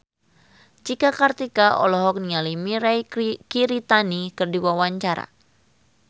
Cika Kartika olohok ningali Mirei Kiritani keur diwawancara